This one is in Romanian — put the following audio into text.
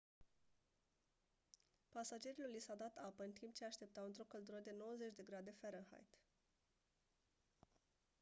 pasagerilor li s-a dat apă în timp ce așteptau într-o căldură de 90 de grade farenheit